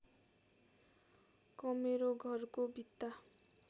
कमेरो घरको भित्ता